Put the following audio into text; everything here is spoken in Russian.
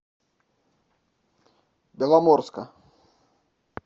беломорска